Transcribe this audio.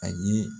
A ye